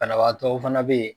Banabatɔw fana be yen